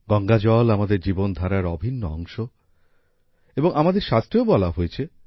গঙ্গাজল আমাদের জীবনধারার অভিন্ন অংশ এবং আমাদের শাস্ত্রেও বলা হয়েছে